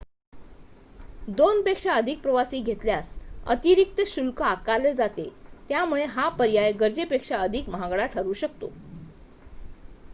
दोनपेक्षा अधिक प्रवासी घेतल्यास अतिरिक्त शुल्क आकारले जाते त्यामुळे हा पर्याय गरजेपेक्षा अधिक महागडा ठरू शकतो